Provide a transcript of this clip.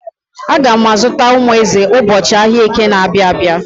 Aga m azụta umu ezi ụbọchị ahịa Eke na-abịa.